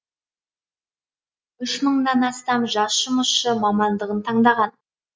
үш мыңнан астам жас жұмысшы мамандығын таңдаған